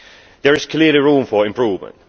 There is clearly room for improvement.